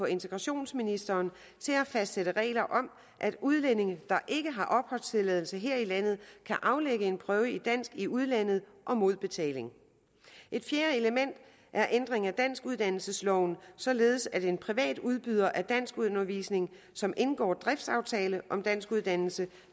integrationsministeren til at fastsætte regler om at udlændinge der ikke har opholdstilladelse her i landet kan aflægge en prøve i dansk i udlandet mod betaling et fjerde element er ændring af danskuddannelsesloven således at en privat udbyder af danskundervisning som indgår driftsaftale om danskuddannelse